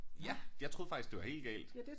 Ja jeg troede faktisk det var helt galt